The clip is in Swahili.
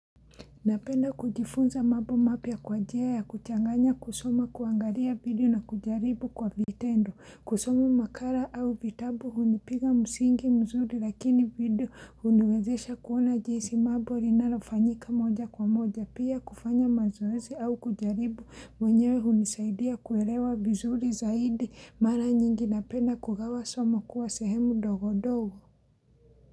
Napenda kujifunza mambo mapya kwa njia ya kuchanganya kusoma kuangalia video na kujaribu kwa vitendo kusoma makara au vitabu hunipiga msingi mzuri lakini video huniwezesha kuona jinsi mambo linalofanyika moja kwa moja pia kufanya mazoezi au kujaribu mwenyewe hunisaidia kuelewa vizuri zaidi mara nyingi napenda kugawa somo kuwa sehemu dogodogo.